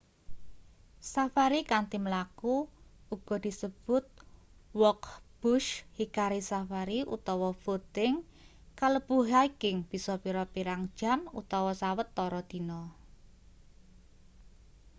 safari kanthi mlaku uga disebut walk bush hikari safari utawa footing kalebu hiking bisa pirang-pirang jam utawa sawetara dina